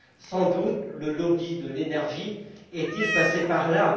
Sans doute le lobby de l'énergie est il passé par là.